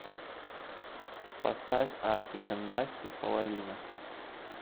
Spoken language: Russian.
поставь артик энд асти половина